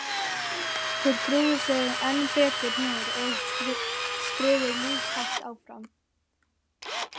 Þeir grúfðu sig enn betur niður og skriðu lúshægt áfram.